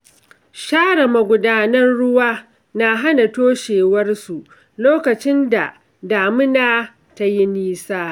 Share magudanan ruwa na hana toshewarsu lokacin da damuna tayi nisa.